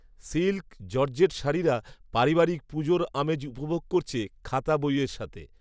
silk, georgette শাড়িরা পারিবারিক পুজোর আমেজ উপভোগ করছে খাতা, বইয়ের সাথে